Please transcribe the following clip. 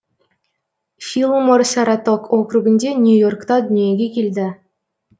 филлмор саратог округінде нью йоркта дүниеге келді